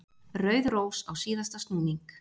Rauð rós á síðasta snúning.